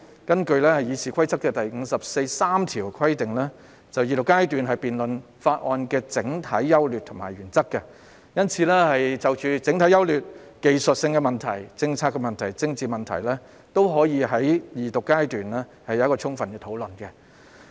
根據《議事規則》第543條規定，二讀階段是辯論法案的整體優劣和原則，因此，相關法案的整體優劣及其所涉及的技術性問題、政策問題和政治問題，均可於二讀階段作充分討論。